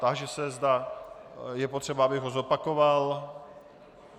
Táži se, zda je potřeba, abych ho zopakoval.